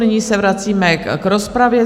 Nyní se vracíme k rozpravě.